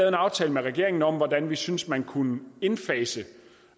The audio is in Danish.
aftale med regeringen om hvordan vi synes man kunne indfase